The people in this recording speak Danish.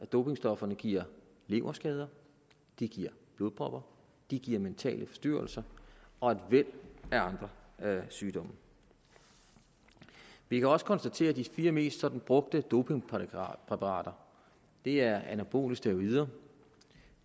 dopingstofferne giver leverskader de giver blodpropper de giver mentale styrelser og et væld af andre sygdomme vi kan også konstatere at de fire mest brugte dopingpræparater er anabole steroider